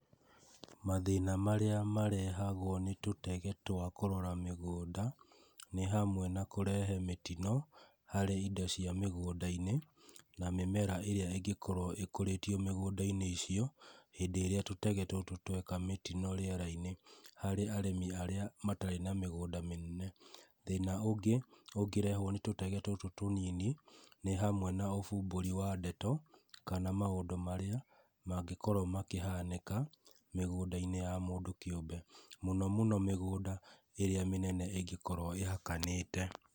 Mathĩna marĩa marehagwo nĩ tũtege twa kũrora mĩgunda nĩ hamwe na kũrehe mĩtino harĩ indo cia mĩgũnda-inĩ na mĩmera ĩrĩa ĩngĩkorwo ĩkũrĩtio mĩgũndainĩ icio hĩndĩ ĩrĩa tũtege tũtũ tweka mĩtino rĩerainĩ harĩ arĩmi arĩa matarĩ na mĩgũnda mĩnene. Thĩna ũngĩ ũngĩrehwo nĩ tũtege tũtũ tũnini nĩ hamwe na ũbumbũri wa ndeto kana maũndũ marĩa mangĩkorwo makĩhanĩka mĩgũnda-inĩ ya mũndũ kĩũmbe. Mũno mũno mĩgũnda ĩrĩa mĩnene ĩngĩkorwo ĩhakanĩte.